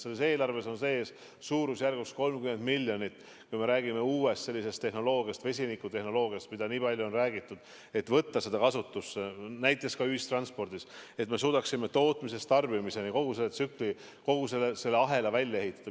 Selles eelarves on suurusjärgus 30 miljonit uue tehnoloogia, vesinikutehnoloogia jaoks, millest on nii palju räägitud, selleks et võtta see kasutusse näiteks ka ühistranspordis, et me suudaksime tootmisest tarbimiseni, kogu selle tsükli, kogu selle ahela välja ehitada.